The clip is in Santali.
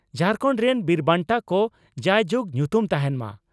ᱡᱷᱟᱨᱠᱷᱟᱹᱱᱰ ᱨᱮᱱ ᱵᱤᱨ ᱵᱟᱱᱴᱟ ᱠᱚ ᱡᱟᱭ ᱡᱩᱜ ᱧᱩᱛᱩᱢ ᱛᱟᱦᱮᱱ ᱢᱟ ᱾